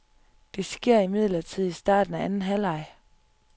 Det skete imidlertid i starten af anden halvleg.